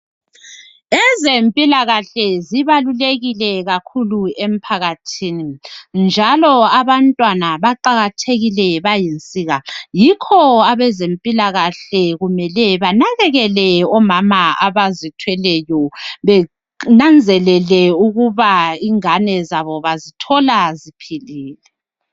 ezempilakahle zibalulekile kakhulu emphakathini njalo abantwana baqakathekile bayinsika yikho abezempilakahle kumele banakekele omama abazithweleyo benanzelele ukuba ingane zabo bazithola ziphilile